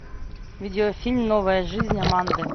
видеофильм новая жизнь аманды